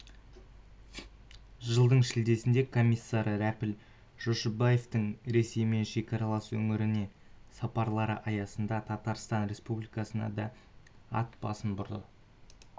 жылдың шілдесінде комиссары рәпіл жошыбаевтың ресеймен шекаралас өңірлеріне сапарлары аясында татарстан республикасына да ат басын бұрды